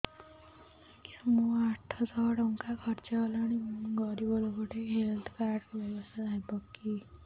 ଆଜ୍ଞା ମୋ ଆଠ ସହ ଟଙ୍କା ଖର୍ଚ୍ଚ ହେଲାଣି ମୁଁ ଗରିବ ଲୁକ ଟିକେ ହେଲ୍ଥ କାର୍ଡ ବ୍ୟବସ୍ଥା ହବ କି